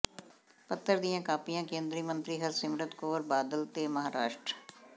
ਪੱਤਰ ਦੀਆਂ ਕਾਪੀਆਂ ਕੇਂਦਰੀ ਮੰਤਰੀ ਹਰਸਿਮਰਤ ਕੌਰ ਬਾਦਲ ਤੇ ਮਹਾਰਾਸ਼ਟ